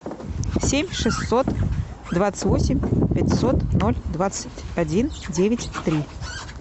семь шестьсот двадцать восемь пятьсот ноль двадцать один девять три